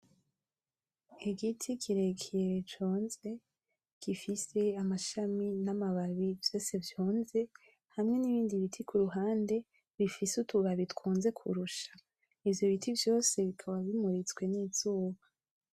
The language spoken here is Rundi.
Igiti kirekire conze. Gifise amashami n'amababi vyose vyonze hamwe n'ibindi biti kuruhande bifise utubabi twonze kurusha. Ivyo biti vyose bikaba bimuritswe n'Izuba.